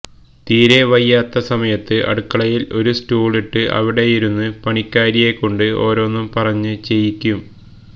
തീരെ വയ്യാതായ സമയത്ത് അടുക്കളയില് ഒരു സ്റ്റൂളിട്ട് അവിടെയിരുന്ന് പണിക്കാരിയെകൊണ്ട് ഓരോന്നും പറഞ്ഞ് ചെയ്യിക്കും